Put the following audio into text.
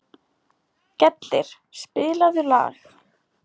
Gellir, spilaðu lag.